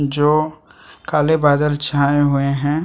जो काले बादल छाए हुवे है ।